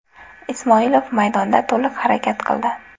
Ismoilov maydonda to‘liq harakat qildi.